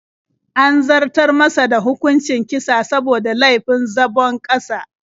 An zartar masa da hukuncin kisa saboda laifin zabon ƙasa.